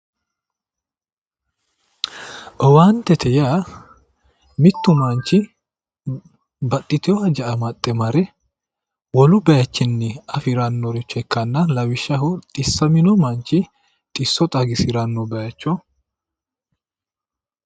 owaantete yaa mintu manchi baxxitino haja amaxxe mare wolu bayiichinni afirannoricho ikkanna lawishshaho xissamino manchi xisso xagisiranno bayicho